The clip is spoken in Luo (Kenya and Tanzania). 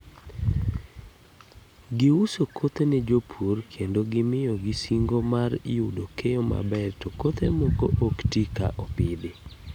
Gi uso kothe ne jopur kendo gimiyo gi singo mar tyudo keyo maber to kothe moko ok ti ka opidhi.